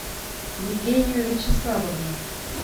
евгению вячеславовну